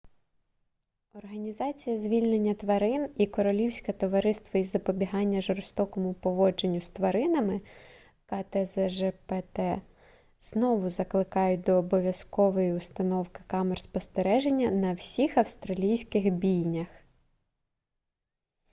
організація звільнення тварин і королівське товариство із запобігання жорстокому поводженню з тваринами ктзжпт знову закликають до обов'язкової установки камер спостереження на всіх австралійських бійнях